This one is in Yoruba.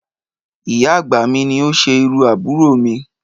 Ìyá àgbà mi ni ó ṣe irú àbúrò mi